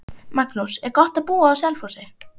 Magnús: Er gott að búa á Selfossi?